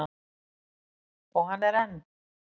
Og hann er enn.